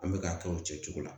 An bɛ k'a kɛ o cɛcogo la